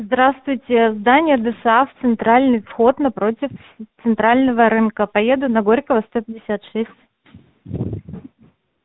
здравствуйте здание досааф центральный вход напротив центрального рынка поеду на горького сто пятьдесят шесть